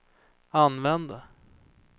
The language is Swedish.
använde